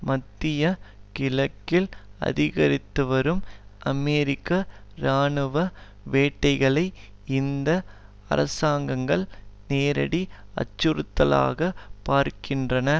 மத்திய கிழக்கில் அதிகரித்துவரும் அமெரிக்க இராணுவ வேட்கைகளை இந்த அரசாங்கங்கள் நேரடி அச்சுறுத்தலாக பார்க்கின்றன